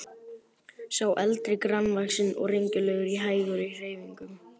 Sá eldri grannvaxinn og renglulegur og hægur í hreyfingum.